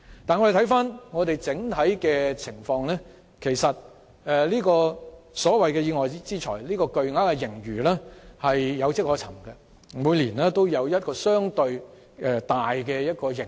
但回顧整體情況，這筆所謂屬意外之財的巨額盈餘其實有跡可尋，因為每年也會出現一筆相對大的盈餘。